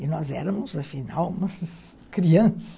E nós éramos, afinal, crianças.